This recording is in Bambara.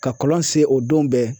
Ka kɔlɔn se o don bɛ